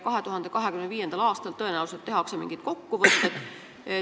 2025. aastal tehakse tõenäoliselt mingid kokkuvõtted.